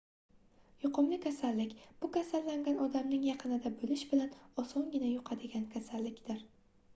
yuqumli kasallik bu kasallangan odamning yaqinida boʻlish bilan osongina yuqadigan kasallikdir